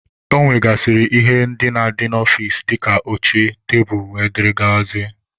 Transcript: Ọ nwegasịrị ihe na-adị n'ọfịcị dịka oche, tebulu wdg.